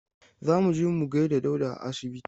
Za mu je mu gaida Dauda a asibiti.